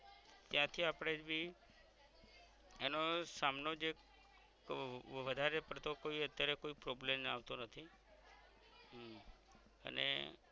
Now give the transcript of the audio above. ક્યાં ક્યાં આપણે એનો સામનો જે વધારે પડતો કોઈ અત્યારે કોઈ problem આવતો નથી હમ અને